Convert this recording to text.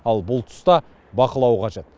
ал бұл тұста бақылау қажет